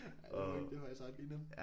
Det det er faktisk ret grineren